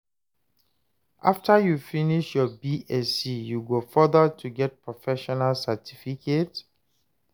after you finish your Bsc, you go further to get professional certificate?